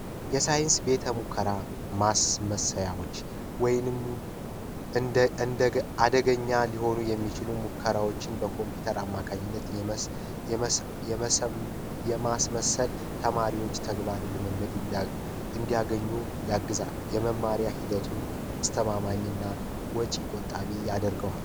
ማስመያዎች እንደገ አደገኛ ሊሆኑ የሚችለው ሙከራዎችን በኮምፒውተር አማካኝነት የማስመሰል ተማሪዎች ተግባር ልምምድ እንዲያገኙ ያግዛል መማሪያ ሂደቱን አስተማማኝና ውጭ ይቆጣቢ ያደርገዋል።